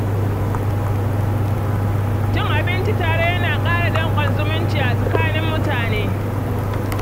Cin abinci tare yana ƙara danƙon zumunci a tsakanin mutane.